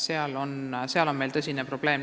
Seal on meil tõsine probleem.